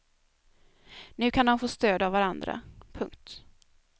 Nu kan de få stöd av varandra. punkt